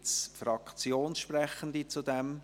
Gibt es Fraktionssprechende hierzu?